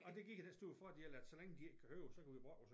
Og det giver den store fordel at så længe de ikke kan høre os så kan vi brokke os